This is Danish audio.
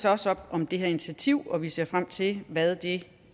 også op om det her initiativ og vi ser frem til hvad det